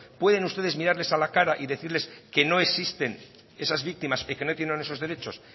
pueden ustedes mirarles a la cara y decirles que no existen esas víctimas y que no tienen esos derechos